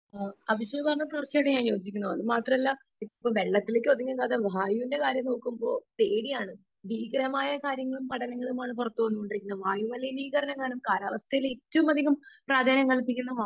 Speaker 2 Abhishek പറഞ്ഞതിനോട് ഞാൻ തീർച്ചയായും യോജിക്കുന്നു അത് മാത്രമല്ല ഇപ്പോൾ വെള്ളത്തിന്റെ കാര്യം മാത്രമല്ല വായുവിന്റെ കാര്യം നോക്കുമ്പോൾ പേടിയാണ് . ഭീകരമായ കാര്യങ്ങൾ പടരുന്നതും വായുമലിനീകരണം. കാലാവസ്ഥയിൽ ഏറ്റവും പ്രാധാന്യം നൽകിയിരിക്കുന്നത്